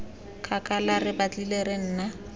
kgakala re batlile re nna